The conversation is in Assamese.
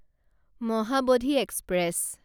মহাবোধি এক্সপ্ৰেছ